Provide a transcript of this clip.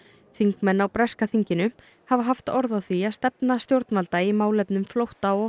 þingmenn á breska þinginu hafa haft orð á því að stefna stjórnvalda í málefnum flótta og